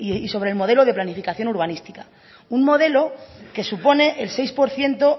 y sobre el modelo de planificación urbanística un modelo que supone el seis por ciento